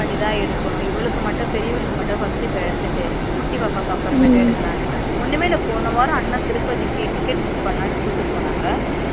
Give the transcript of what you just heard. Wait பண்ணிதா எடுக்கணும்இவளுக்கு மட்டும் பெரியவளுக்கு இப்ப first எடுத்துட்டு குட்டி பாப்பாக்கு அப்ரமேட்டு எடுகலாண்டுதா ஒன்னுமே இல்ல போன வாரம் அண்ணா திருப்பதிக்கு ticket book பண்ணாலு போனாங்க